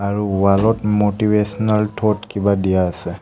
আৰু ৱাল ত motivational thought কিবা দিয়া আছে।